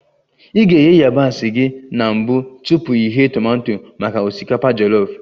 Ị ga-eghe yabasị gị na mbụ tupu ị ghee tomato maka osikapa jolof